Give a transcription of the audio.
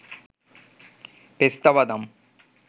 পেস্তা বাদাম